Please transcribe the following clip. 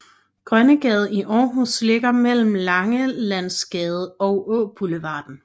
Grønnegade i Aarhus ligger mellem Langelandsgade og Åboulevarden